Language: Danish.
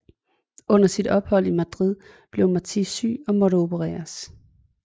Under sit ophold i Madrid blev Martí syg og måtte opereres